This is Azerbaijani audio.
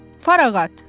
Farağat!